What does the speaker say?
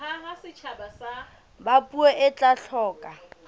ba puo e tla hloka